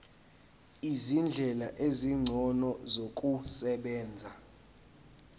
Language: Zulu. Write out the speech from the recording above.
izindlela ezingcono zokusebenza